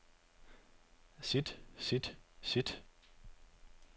sit sit sit